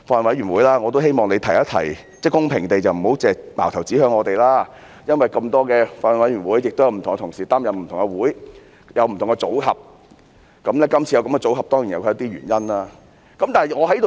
我也希望主席公平地提一提，不要只是把矛頭指向我們，因為有這麼多法案委員會，不同同事亦要負責不同會議，有不同組合，今次有這樣的組合，當然有其原因。